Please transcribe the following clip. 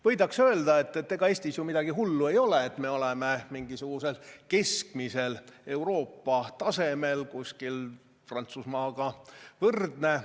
Võidakse öelda, et ega Eestis ju midagi hullu ei ole, me oleme mingisugusel keskmisel Euroopa tasemel, kuskil Prantsusmaaga võrdne.